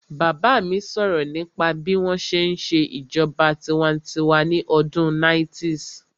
Bàbá mi sọ̀rọ̀ nípa bí wọ́n ṣe n ṣe ìṣèjọba tinwatinwa ní ọdún 90's